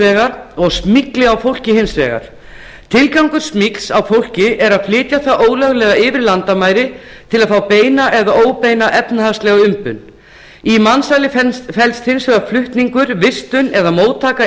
vegar og smygli á fólki hins vegar tilgangur smygls á fólki er að flytja það ólöglega yfir landamæri til að fá beina eða óbeina efnahagslega umbun í mansali felst hins vegar flutningur vistun eða móttaka